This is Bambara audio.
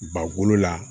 Bakolo la